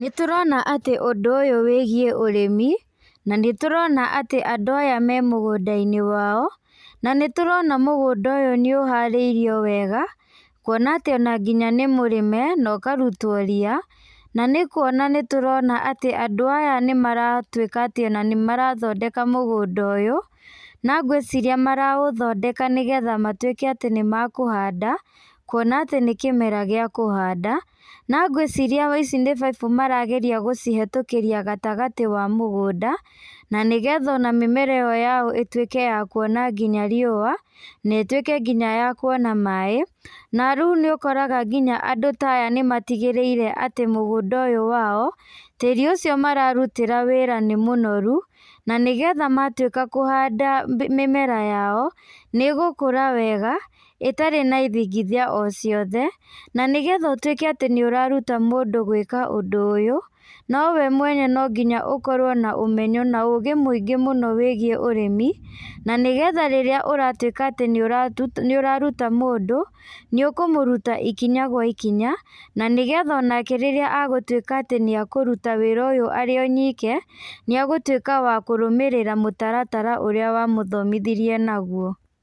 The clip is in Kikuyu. Nĩtũrona atĩ ũndũ ũyũ wĩgiĩ ũrĩmi, na nĩtũrona atĩ andũ aya me mũgũnda-inĩ wao, na nĩtũrona mũgũnda ũyũ nĩũharĩirio wega, kuona atĩ ona nginya nĩ mũrĩme, nokarutwo ria, nanĩ kuona nĩtũrona atĩ andũ aya nĩmaratwĩka atĩ ona nĩmarathondeka mũgũnda ũyũ, na ngwĩciria maraũthondeka nĩgetha matwĩke atĩ nĩmekũhanda, kuona atĩ nĩ kĩmera gĩa kũhanda, no ngwĩciria ici nĩ baibũ marageria gũcihetũkĩria gatagatĩ wa mũgũnda, na nĩgetha ona mĩmera ĩyo yao ĩtwĩke ya kuona nginya riũa, netwĩke nginya ya kuona maĩ, na rĩu nĩũkoraga nginya andũ ta aya nĩmatigĩrĩire atĩ mũgũnda ũyũ wao, tĩri ũcio mararutĩra wĩra nĩ mũnoru, na nĩgetha matwĩka kũhanda mĩmera yao. nĩgũkũra o wega, ĩtarĩ na ithingithia o ciothe, na nĩgetha ũtwĩke atĩ nĩũraruta mũndũ gwĩka ũndũ ũyũ, nowe mwene nonginya ũkorwo na ũmenyo na ũgĩ mũingĩ mũno wĩgiĩ ũrĩmi, na nĩgetha rĩrĩa ũratwĩka atĩ nĩũratũ nĩũraruta mũndũ, nĩũkũmũruta ikinya gwa ikinya, na nĩgetha onake rĩrĩa agũtwĩka atĩ nĩekũruta wĩra ũyũ arĩ o nyike, nĩegũtwĩka wa kũrũmĩrĩra mũtaratara ũrĩa wamũthomithirie naguo.